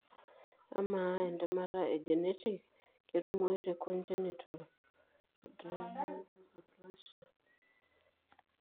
Amaa entemata e genetic ketumoyu te congenital adrenal hyperplasia?